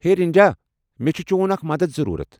ہے رِنجا! مےٚ چھٗ چون اكھ مدتھ ضروُرت ۔